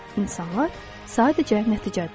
İnsanlar sadəcə nəticədirlər.